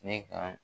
Ne ka